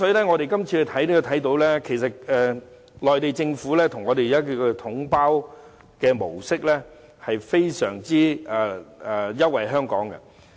我們可以看到，內地政府將東江水以"統包總額"模式出售是非常優惠香港的。